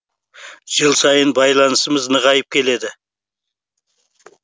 жыл сайын байланысымыз нығайып келеді